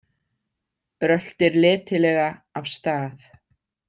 Röltir letilega af stað.